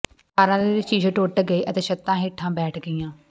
ਕਾਰਾਂ ਦੇ ਸ਼ੀਸ਼ੇ ਟੁੱਟ ਗਏ ਅਤੇ ਛੱਤਾਂ ਹੇਠਾਂ ਬੈਠ ਗਈਆਂ